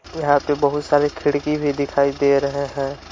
यहां पे बहुत सारे खिड़की भी दिखाई दे रहे हैं।